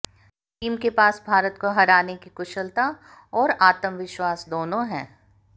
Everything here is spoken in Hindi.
टीम के पास भारत को हराने की कुशलता और आत्मविश्वास दोनों हैं